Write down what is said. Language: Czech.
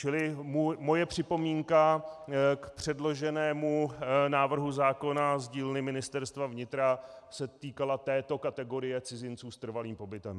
Čili moje připomínka k předloženému návrhu zákona z dílny Ministerstva vnitra se týkala této kategorie cizinců s trvalým pobytem.